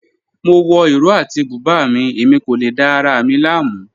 Mo wọ ìró àti bùbá mi, ẹ̀mi kò lè dá ara mi lámu.